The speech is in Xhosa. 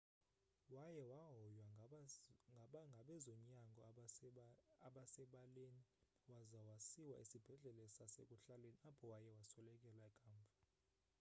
waye wahoywa ngabezonyango abasebaleni waza wasiwa esibhedlele sasekuhlaleni apho waye waswelekela kamva